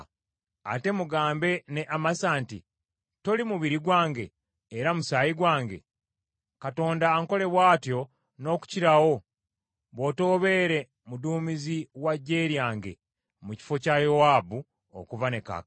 Ate mugambe ne Amasa nti, ‘Toli mubiri gwange era musaayi gwange? Katonda ankole bw’atyo n’okukirawo, bw’otobeere muduumizi wa ggye lyange mu kifo kya Yowaabu okuva ne kaakano.’ ”